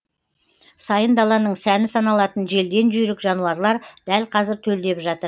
сайын даланың сәні саналатын желден жүйрік жануарлар дәл қазір төлдеп жатыр